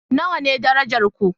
Nawa ne darajar ku?